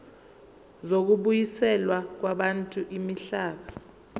zokubuyiselwa kwabantu imihlaba